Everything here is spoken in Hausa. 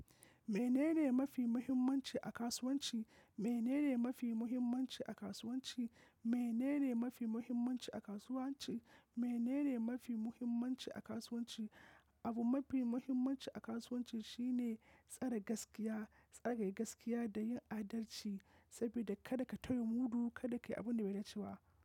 Menene mafi muhimmanci a kasuwanci? Menene mafi muhimmanci a kasuwanci? Menene mafi muhimmanci a kasuwanci? Menene mafi muhimmanci a kasuwanci? Abu mafi muhimmanci a kasuwanci shine tsare gaskiya, tsare gaskiya da yin adalci sabida kar ka tayi gudu, kada ka yi abunda bai da cewa.